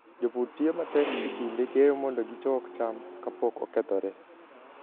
Jopur tiyo matek e kinde keyo mondo gichok cham kapok okethore.